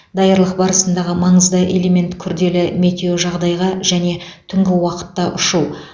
даярлық барысындағы маңызды элемент күрделі метеожағдайға және түнгі уақытта ұшу